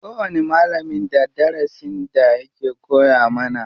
Kowani malamin da darasin da yake koya mana.